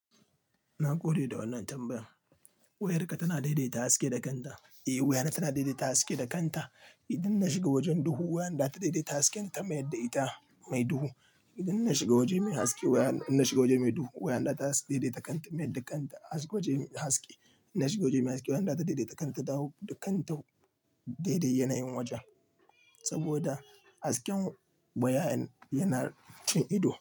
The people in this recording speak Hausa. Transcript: Na gode da wannan tambayar. Wayarka tana daidaita haske da kanta. Eh, wayana tana daidaita haske da kanta. Idan na shiga wajen duhu, wayanda ta daidaita haske ta mayar da ita mai duhu. Idan na shiga waje mai haske wayan, na shiga waje mai duhu, wayanda ta daidaita kanta mayar da kanta ta haske waje haske. Na shiga waje mai haske wayan za ta daidaita kanta ta daidai yanayin wajen. Saboda hasken wayan yana cin ido.